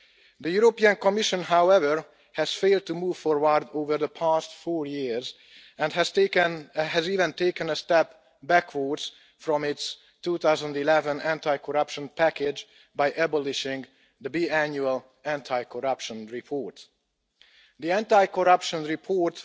The European Commission, however, has failed to move forward over the past four years and has even taken a step backwards from its 2011 anti corruption package by abolishing the biannual Anti corruption Report.